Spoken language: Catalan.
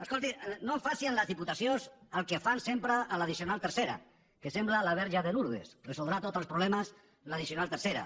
escolti no faci amb les diputacions el que fan sempre amb l’addicional tercera que sembla la verge de lurdes resoldrà tots els problemes l’addicional tercera